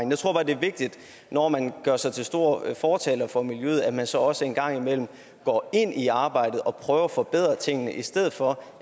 det er vigtigt når man gør sig til store fortalere for miljøet at man så også en gang imellem går ind i arbejdet og prøver at forbedre tingene i stedet for